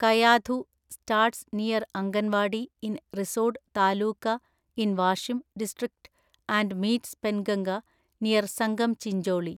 Kayadhu (starts near Agarwadi in Risod taluka in Washim district and meets Penganga near Sangam Chincholi)